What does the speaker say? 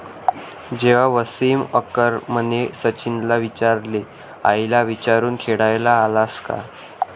जेव्हा वसीम अकरमने सचिनला विचारले, आईला विचारून खेळायला आलास का?